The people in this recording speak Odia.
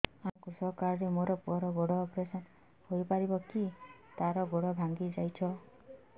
ଅଜ୍ଞା କୃଷକ କାର୍ଡ ରେ ମୋର ପୁଅର ଗୋଡ ଅପେରସନ ହୋଇପାରିବ କି ତାର ଗୋଡ ଭାଙ୍ଗି ଯାଇଛ